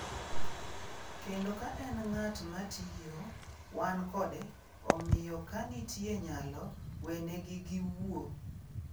Kendo ka en ng’at ma tiyo, wan kode, omiyo ka nitie nyalo, wenegi giwuo’.